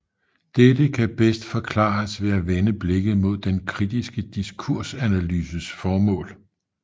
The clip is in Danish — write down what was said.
Dette kan bedst forklares ved at vende blikket mod den kritiske diskursanalyses formål